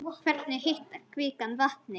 Hvernig hitar kvikan vatnið?